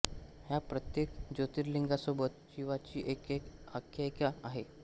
ह्या प्रत्येक ज्योतिर्लिंगासोबत शिवाची एक एक आख्यायिका आहे